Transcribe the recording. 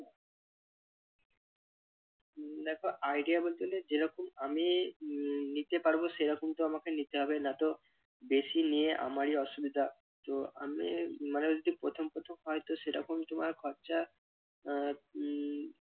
উম দেখো idea বলতে যেরকম আমি উহ নিতে পারব সেরকম তো আমাকে নিতে হবে নয়তো বেশি নিয়ে আমারই অসুবিধা তো আমি মানে যদি প্রথম প্রথম হয়তো সেরকম তোমার খরচা আহ উহ